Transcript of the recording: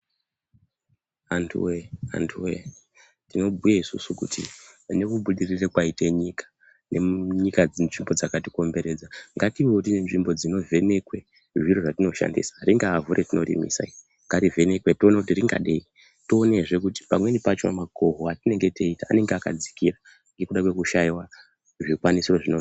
Antu wee antu wee. Tinobhuye isusu kuti pane kubudirira kwaite nyika nemunyika nzvimbo dzakatikomberedza ngativewo tine nzvimbo dzinovhenekwa zvatinoshandisa. Ringaavhu retinorimisa iri ngarivenekwe tione kuti ringadei tionezve kuti pamweni pacho makoho atinenge teita anenge akadzkira ngekuda kwekushaiwa zvikwanisiro zvino...